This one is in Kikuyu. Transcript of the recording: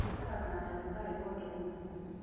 Maikaraga na dagĩtarĩ gwake mũciĩ